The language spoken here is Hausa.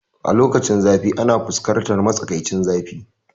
Lokacinzafi ana fuskantar matsakaicin zafi